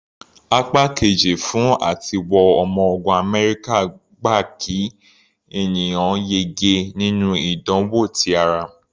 Apá Kejì fún àtiwọ ọmọ ogun Amẹ́ríkà gba kí ènìyàn yege nínú ìdánwò ti ara.